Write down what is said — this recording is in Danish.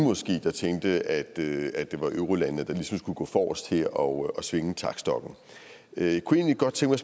der tænkte at det at det var eurolandene der ligesom skulle gå forrest her og svinge taktstokken jeg kunne egentlig godt tænke